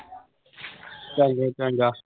ਚੰਗਾ ਚੰਗਾ